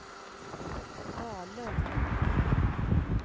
Dalum